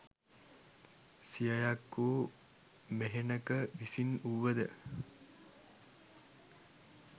සියයක් වූ මෙහෙණක විසින් වුව ද